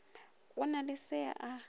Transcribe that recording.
go na le se a